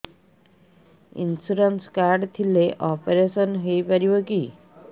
insurance card ଥିଲେ operation ହେଇପାରିବ କି